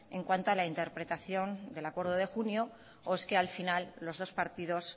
en cuanto a la interpretación del acuerdo de junio o es que al final los dos partidos